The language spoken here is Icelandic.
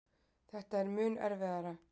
Þetta er mun erfiðara.